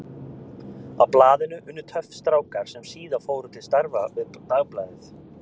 Á blaðinu unnu töff strákar sem síðar fóru til starfa við Dagblaðið.